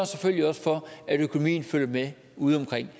selvfølgelig også for at økonomien følger med ude omkring